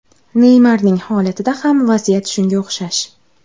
Neymarning holatida ham vaziyat shunga o‘xshash.